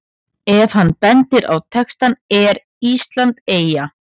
Ef hann bendir á textann ER ÍSLAND EYJA?